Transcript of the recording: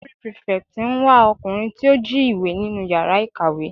Library prefect ń wá ọkùnrin tí ó jí ìwé nínú yàrá ìkàwé.